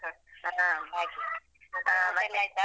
ಹಾ ಹಾಗೆ ಊಟ ಎಲ್ಲ ಆಯ್ತಾ?